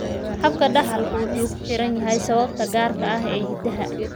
Habka dhaxalku wuxuu ku xiran yahay sababta gaarka ah ee hiddaha.